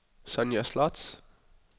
Sonja Sloth